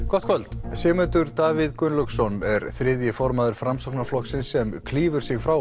gott kvöld Sigmundur Davíð Gunnlaugsson er þriðji formaður Framsóknarflokksins sem klýfur sig frá